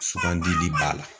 Sugandili b'a la.